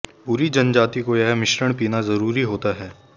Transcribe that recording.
पूरी जनजाति को यह मिश्रण पीना ज़रूरी होता है